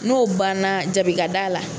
N'o banna jabi ka da la.